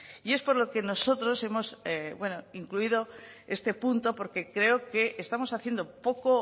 y es por lo que nosotros hemos incluido este punto porque creo que estamos haciendo poco